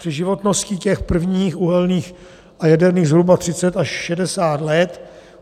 Při životnosti těch prvních uhelných a jaderných zhruba 30 až 60 let.